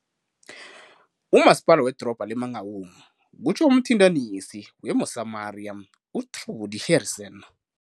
"uMasipala weDorobha le-Mangaung," kutjho umthintanisi we-Mosamaria u-Trudie Harrison.